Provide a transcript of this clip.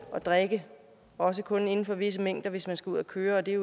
at drikke også kun inden for visse grænser hvis man skal ud at køre og det